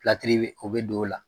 Pilatiri o bɛ don o la.